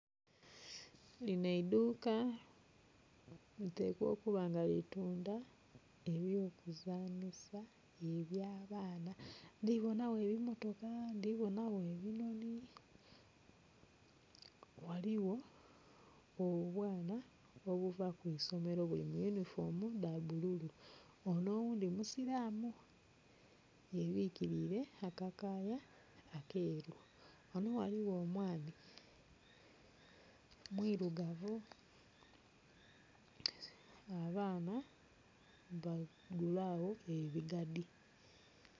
Lino eidhuka litekwa okuba nga li tundha eby'okuzanhisa ebya baana, ndhi bonagho ebimotoka, ndhi bona gho ebinoni. Ghaligho obwana obuva ku isomero buli mu yunifoomu dha bululu ono oghundhi musilamu ye bwikilire akakaaya akeru. Ghano ghaligho omwami mwirugavu abaana bagula agho ebigadi.